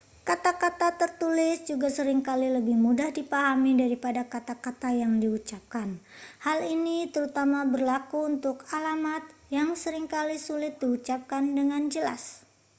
kata-kata tertulis juga sering kali lebih mudah dipahami daripada kata-kata yang diucapkan hal ini terutama berlaku untuk alamat yang sering kali sulit diucapkan dengan jelas